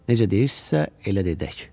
Necə deyirsinizsə, elə də edək.